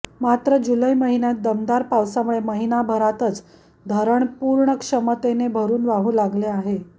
मात्र जुलै महिन्यात दमदार पावसामुळे महिनाभरातच धरण पूर्ण क्षमतेने भरून वाहू लागले आहे